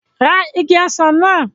Ra igi ọsàn náà!